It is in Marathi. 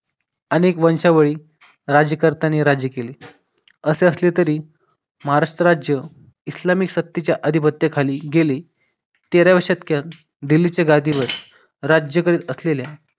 अनेक वंशावळी राज्यकर्त्यांनी राज्य केले असे असले तरी महाराष्ट्र राज्य इस्लामिक सत्तेच्या अधिवक्तेखाली गेले तेराव्या शतकात दिल्लीच्या गादीवर राज्य करीत असलेल्या